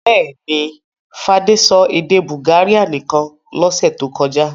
Bẹ́ẹ̀ ni, Fadé sọ èdè Bulgaria nìkan lọ́sẹ̀ tó kọjá.